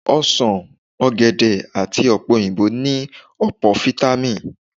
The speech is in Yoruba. Osàn, ọ̀gẹ̀dẹ̀ àti ọ̀pẹ-òyìnbó ní ọ̀pọ̀ fítámì